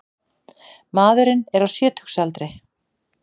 Maðurinn er á sjötugsaldri